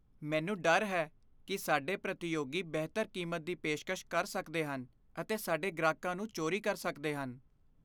ਮੈਨੂੰ ਡਰ ਹੈ ਕਿ ਸਾਡੇ ਪ੍ਰਤੀਯੋਗੀ ਬਿਹਤਰ ਕੀਮਤ ਦੀ ਪੇਸ਼ਕਸ਼ ਕਰ ਸਕਦੇ ਹਨ ਅਤੇ ਸਾਡੇ ਗ੍ਰਾਹਕਾਂ ਨੂੰ ਚੋਰੀ ਕਰ ਸਕਦੇ ਹਨ।